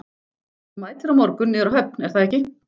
Þú mætir á morgun niður á höfn, er það ekki?